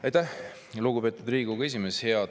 Aitäh, lugupeetud Riigikogu esimees!